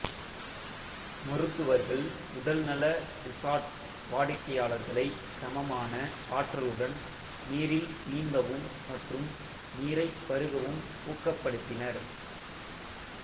மருத்துவர்கள் உடல்நல ரிசார்ட் வாடிக்கையாளர்களை சமமான ஆற்றலுடன் நீரில் நீந்தவும் மற்றும் நீரைப் பருகவும் ஊக்கப்படுத்தினர்